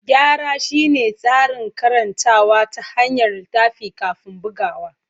Gyara shine tsarin karantawa ta hanyar littafi kafin bugawa.